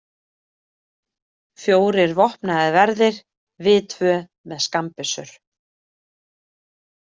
Fjórir vopnaðir verðir, við tvö með skammbyssur.